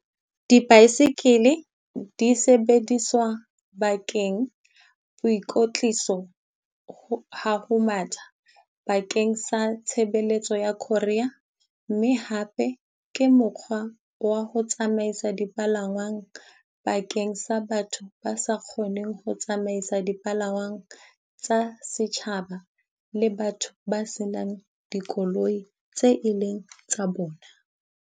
Di-bicycle-e di sebediswa bakeng boikotliso ha ho matha bakeng sa tshebeletso ya courier. Mme hape ke mokgwa wa ho tsamaisa dipalangwang bakeng sa batho ba sa kgoneng ho tsamaisa dipalangwang tsa setjhaba, le batho ba senang dikoloi tse e leng tsa bona.